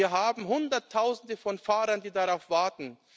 Wir haben Hunderttausende von Fahrern, die darauf warten.